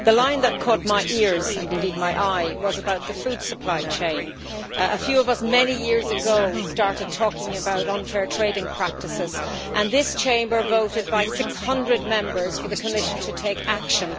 The line that caught my ears, and indeed my eye, was about the food supply chain. A few of us, many years ago, started talking about unfair trading practices, and this chamber voted by 600 Members for the Commission to take action.